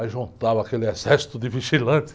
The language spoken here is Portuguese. Aí juntava aquele exército de vigilantes.